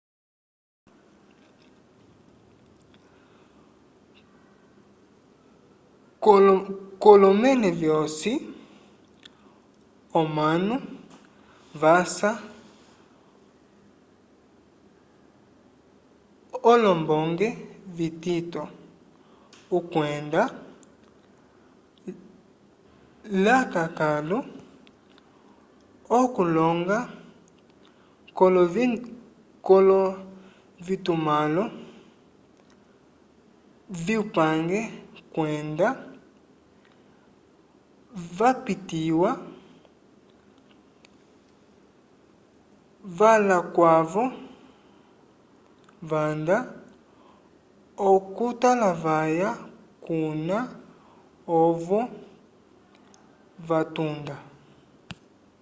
k'olomẽle vyosi omanu vasha olombonge vitito okwenda lakãkalu okuloñga k'ovitumãlo vyupange kwenda vapitiwa lavakwavo vanda okutalavaya kuna ovo vatunda